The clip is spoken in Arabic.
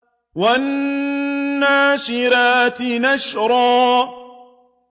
وَالنَّاشِرَاتِ نَشْرًا